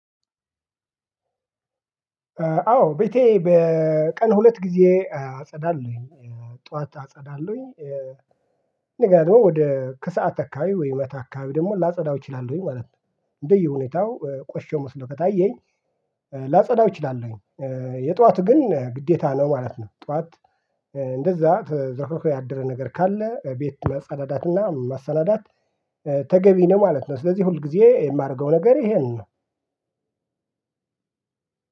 አዎ ቤቴ በቀን ሁለት ጊዜ አጸዳለሁኝ ጠዋት አጸዳለሁኝ እንደገና ደግሞ ወደ ከሰአት አካባቢ ወይ ማታ አካባቢ ደግሞ ላጸዳው እችላለሁኝ ማለት ነው። እንደየሁኔታው ቆሽሾ መስሎ ከታየኝ ላጸዳው እችላለሁኝ። የጧት ግን ግዴታ ነው ማለት ነው። ጧት እንደዛ ተዝረክርኮ ያደረ ነገር ካለ ቤት ማፀዳዳትና ማሰናዳት። ተገቢ ነው ማለት ነው። ስለዚህ ሁል ጊዜ የማረገው ነገር ይሄን ነው።